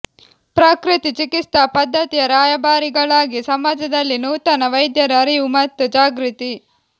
ಪ್ರಕೃತಿ ಚಿಕಿತ್ಸಾ ಪದ್ಧತಿಯ ರಾಯಬಾರಿಗಳಾಗಿ ಸಮಾಜದಲ್ಲಿ ನೂತನ ವೈದ್ಯರು ಅರಿವು ಮತ್ತು ಜಾಗೃತಿ